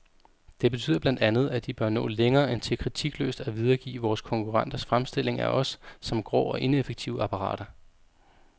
Det betyder blandt andet, at de bør nå længere end til kritikløst at videregive vores konkurrenters fremstilling af os som grå og ineffektive apparater.